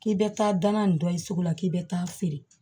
K'i bɛ taa danna nin dɔ ye sugu la k'i bɛ taa feere